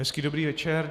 Hezký dobrý večer.